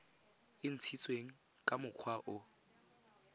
e ntshitsweng ka mokgwa o